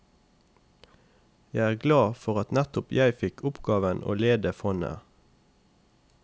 Jeg er glad for at nettopp jeg fikk oppgaven å lede fondet.